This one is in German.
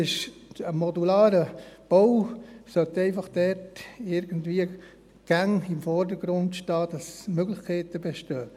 Ein modularer Bau sollte dort einfach immer im Vordergrund stehen, damit es Möglichkeiten gibt.